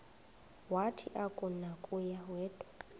wathi akunakuya wedw